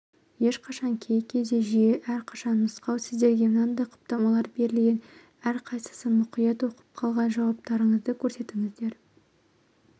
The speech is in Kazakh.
ешқашан кей кезде жиі әрқашан нұсқау сіздерге мынадай құптамалар берілген әрқайсысын мұқият оқып қалған жауаптарыңызды көрсетіңіздер